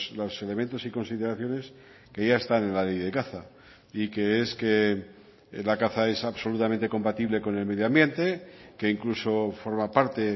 los elementos y consideraciones que ya están en la ley de caza y que es que la caza es absolutamente compatible con el medio ambiente que incluso forma parte